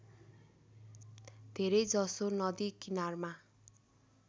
धेरैजसो नदी किनारमा